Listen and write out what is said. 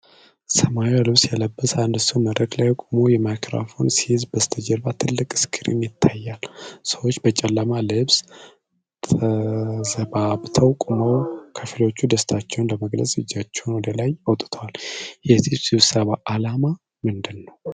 ሰማያዊ ልብስ የለበሰ አንድ ሰው መድረክ ላይ ቆሞ ማይክሮፎን ሲይዝ በስተጀርባ ትልቅ ስክሪን ይታያል። ሰዎች በጨለማ ልብስ ተዘባብተው ቆመው፣ ከፊሎቹ ደስታቸውን ለመግለጽ እጃቸውን ወደ ላይ አውጥተዋል፡፡ የዚህ ስብሰባ ዓላማ ምንድን ነው?